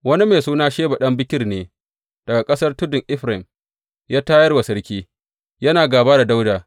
Wani mai suna Sheba ɗan Bikri ne, daga ƙasar tudun Efraim, ya tayar wa sarki, yana gāba da Dawuda.